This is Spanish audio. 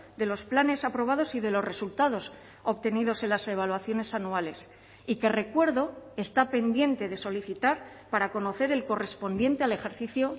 de los planes aprobados y de los resultados obtenidos en las evaluaciones anuales y que recuerdo está pendiente de solicitar para conocer el correspondiente al ejercicio